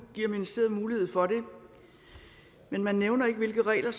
giver ministeriet mulighed for det men man nævner ikke hvilke regler